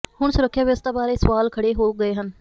ਹੁਣ ਸੁਰੱਖਿਆ ਵਿਵਸਥਾ ਬਾਰੇ ਸਵਾਲ ਖੜ੍ਹੇ ਹੋ ਗਏ ਹਨ